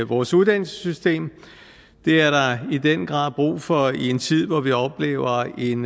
vores uddannelsessystem det er der i den grad brug for i en tid hvor vi oplever en